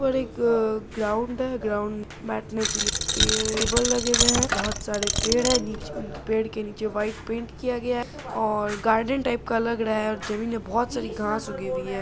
और एक ग्राउंड है ग्राउंड बैठने के लिए एक टेबल लगे हुए हैं बहुत सारे पेड़ है पेड़ के नीचे वाइट पेंट किया गया है और गार्डन टाइप का लग रहा है और जमीन में बहुत सारी घासें उगी हुई है।